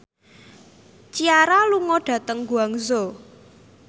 Ciara lunga dhateng Guangzhou